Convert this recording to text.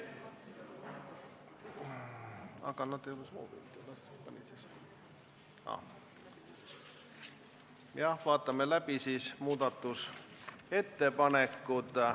Vaatame läbi muudatusettepanekud.